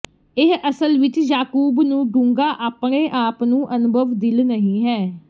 ਇਹ ਅਸਲ ਵਿੱਚ ਯਾਕੂਬ ਨੂੰ ਡੂੰਘਾ ਆਪਣੇ ਆਪ ਨੂੰ ਅਨੁਭਵ ਦਿਲ ਨਹੀ ਹੈ